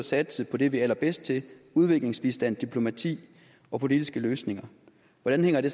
satse på det vi er allerbedst til udviklingsbistand diplomati og politiske løsninger hvordan hænger det